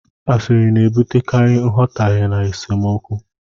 Asịrị na-ebutekarị nghọtahie na esemokwu.